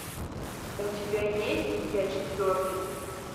у тебя есть я четвертый